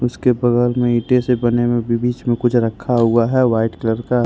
उसके बगल में ईंटे से बने हुए बीच में कुछ रखा हुआ है वाइट कलर का ।